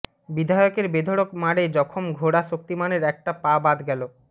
বিধায়কের বেধরক মারে জখম ঘোড়া শক্তিমানের একটা পা বাদ গেল